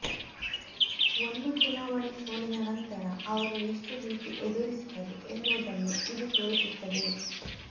ಒಂದು ಚುನಾವಣೆ ಸೋಲಿನ ನಂತರ ಅವರು ಎಷ್ಟು ಭೀತಿ ಎದುರಿಸಿದರು ಎನ್ನುವುದನ್ನು ಇದು ತೋರಿಸುತ್ತದೆ